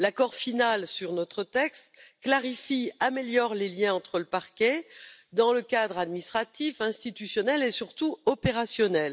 L'accord final sur notre texte clarifie et améliore les liens avec le Parquet dans le cadre administratif, institutionnel et surtout opérationnel.